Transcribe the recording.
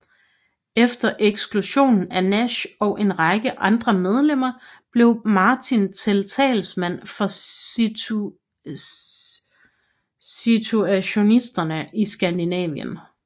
Efter eksklusionen af Nash og en række andre medlemmer blev Martin til talsmand for situationisterne i Skandinavien